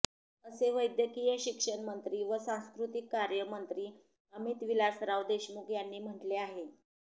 असे वैद्यकीय शिक्षण मंत्री व सांस्कृतिक कार्य मंत्री अमित विलासराव देशमुख यांनी म्हटले आहे